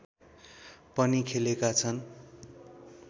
पनि खेलेका छन